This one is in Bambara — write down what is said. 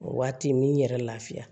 O waati n bɛ n yɛrɛ lafiya